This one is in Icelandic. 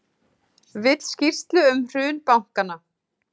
Að ná að skapa stemningu í stúkunni á Laugardalsvelli ætti í raun að teljast afrek.